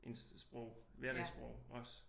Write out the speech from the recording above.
Ens sprog hverdagssprog også